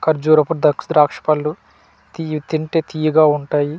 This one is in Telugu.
ఖజురపు ద్రాక్ష పళ్ళు ఇవి తింటే తియ్యగా ఉంటాయి .